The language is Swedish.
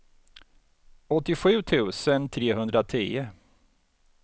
åttiosju tusen trehundratio